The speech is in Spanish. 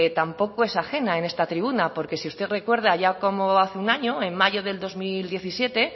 tampoco es ajena en esta tribuna porque si usted recuerda ya como hace un año en mayo del dos mil diecisiete